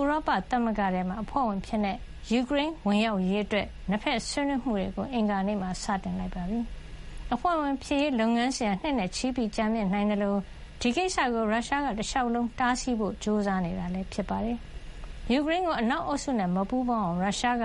ဥရောပသမဂ္ဂထဲ အဖွဲ့ဝင်အဖြစ် ယူကရိန်းဝင်ရောက်ရေးအတွက် နှစ်ဘက်ဆွေးနွေးမှုတွေကို အင်္ဂါနေ့မှာ စတင်ခဲ့ပါတယ်။ အဖွဲ့ဝင်ဖြစ်ရေးလုပ်ငန်းစဉ်ဟာ နှစ်နဲ့ချီ ကြာမြင့်နိုင်သလို ဒီကိစ္စကို ရုရှားက တလျှောက်လုံး တားဆီးဖို့ကြိုးစားနေတာ ဖြစ်ပါတယ်။ ယူကရိန်းကို အနောက်အုပ်စုနဲ့ မပူးပေါင်းအောင် ရုရှားက